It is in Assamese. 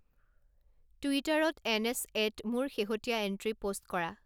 টুইটাৰত এন এছ এত মোৰ শেহতীয়া এণ্ট্ৰি পোষ্ট কৰা